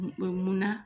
Mun munna